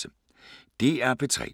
DR P3